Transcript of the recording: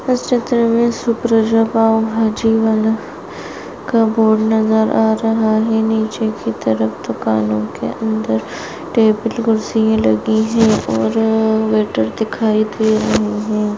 इस चित्र मे सुप्रजा पाव भाजी वाला का बोर्ड नजर आ रहा है पीछे की तरफ दुकानोंके अंदर टेबल कुर्सिया लगी है और वेटर दिखाई दे रहा है।